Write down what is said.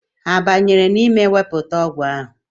Ha banyere n'ime wepụta ọgwụ ahụ?